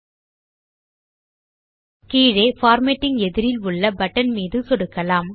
மற்றும் கீழே பார்மேட்டிங் எதிரில் உள்ள பட்டன் மீது சொடுக்குவோம்